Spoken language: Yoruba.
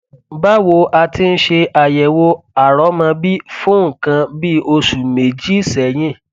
báwo a ti ń ṣe àyẹwò àrọmọbí fún nǹkan bí oṣù méjì sẹyìn